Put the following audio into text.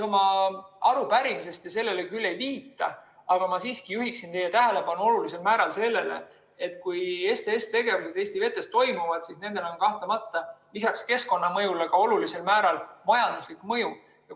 Oma arupärimises te sellele küll ei viita, aga ma siiski juhin teie tähelepanu sellele, et kui STS‑tegevus Eesti vetes toimub, siis sellel on lisaks keskkonnamõjule väga olulisel määral kahtlemata ka majanduslik mõju.